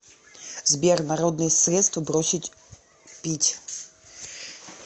сбер народные средства бросить пить